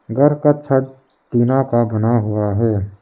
घर का छत टीना का बना हुआ है।